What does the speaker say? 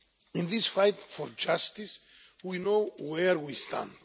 In this fight for justice, we know where we stand.